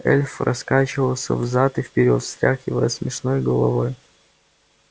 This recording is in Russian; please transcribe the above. эльф раскачивался взад и вперёд встряхивая смешной головой